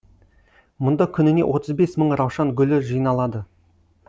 мұнда күніне отыз бес мың раушан гүлі жиналады